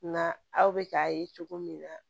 Nka aw bɛ k'a ye cogo min na